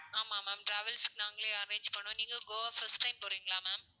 ஆமா ma'am travels க்கு நாங்களே arrange பண்ணுவோம். நீங்க கோவா first time போறீங்களா ma'am